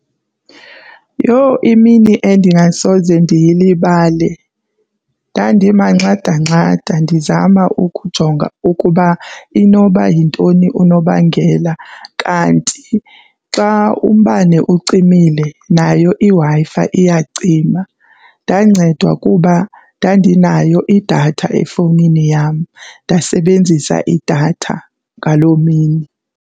Yho! Imini endingasoze ndiyilibale, ndandimanxadanxada ndizama ukujonga ukuba inoba yintoni unobangela kanti xa umbane ucimile, nayo iWi-Fi iyacima. Ndancedwa kuba ndandinayo idatha efowunini yam ndasebenzisa idatha ngaloo mini.